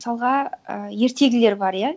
мысалға і ертегілер бар иә